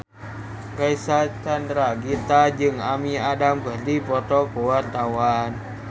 Reysa Chandragitta jeung Amy Adams keur dipoto ku wartawan